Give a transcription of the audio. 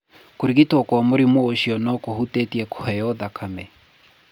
Kũrigitwo kwa mũrimũ ũcio no kũhutĩtie kũheo thakame.